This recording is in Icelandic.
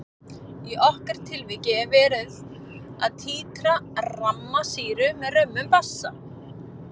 Í okkar tilviki er verið að títra ramma sýru með römmum basa.